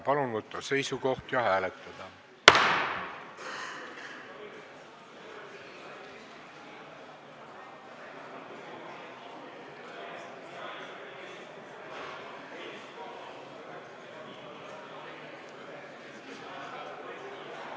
Palun võtta seisukoht ja hääletada!